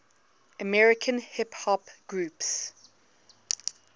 american hip hop groups